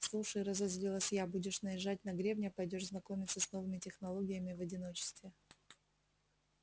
слушай разозлилась я будешь наезжать на гребня пойдёшь знакомиться с новыми технологиями в одиночестве